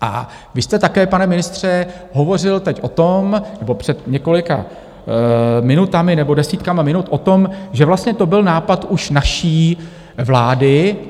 A vy jste také, pane ministře, hovořil teď o tom - nebo před několika minutami nebo desítkami minut - o tom, že vlastně to byl nápad už naší vlády.